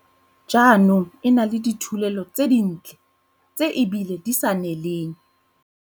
Jaanong e na le dithulelo tse dintle tse ebile di sa neleng.